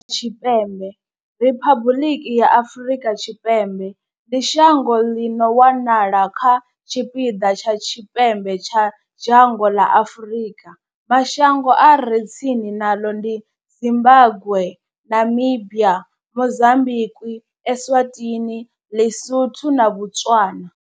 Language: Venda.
Afrika Tshipembe Riphabuḽiki ya Afrika Tshipembe ndi shango ḽi no wanala kha tshipiḓa tsha tshipembe tsha dzhango ḽa Afurika. Mashango a re tsini naḽo ndi Zimbagwe, Namibia, Mozambikwi, Eswatini, Ḽisotho na Botswana.